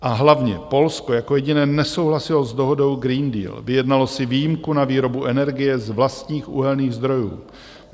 A hlavně Polsko jako jediné nesouhlasilo s dohodou Green Deal, vyjednalo si výjimku na výrobu energie z vlastních uhelných zdrojů.